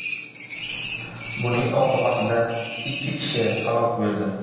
Buning oqibatida ikki kishi halok bo‘ldi .